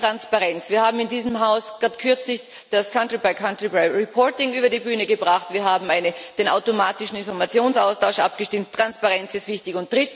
Mehr Transparenz Wir haben in diesem Haus kürzlich das country by country reporting über die Bühne gebracht, wir haben über den automatischen Informationsaustausch abgestimmt Transparenz ist wichtig.